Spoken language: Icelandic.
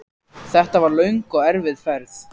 Þetta var löng og erfið ferð.